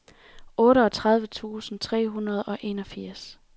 otteogtredive tusind to hundrede og enogfirs